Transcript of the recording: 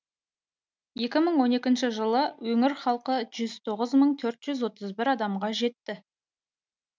екі мың он екінші жылы өңір халқы жүз тоғыз мың төрт жүз отыз бір адамға жетті